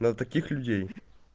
на таких людей